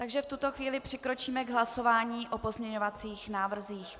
Takže v tuto chvíli přikročíme k hlasování o pozměňovacích návrzích.